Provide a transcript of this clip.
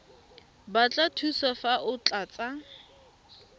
batla thuso fa o tlatsa